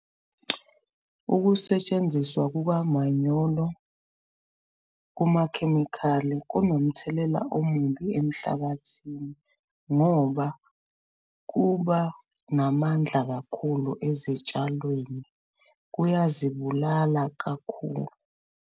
Ukusetshenziswa kukamanyolo kumakhemikhali kunomthelela omubi emhlabathini ngoba kuba namandla kakhulu ezitshalweni, kuyazibulala kakhulu.